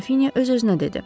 Qrafinya öz-özünə dedi.